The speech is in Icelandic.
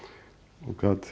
og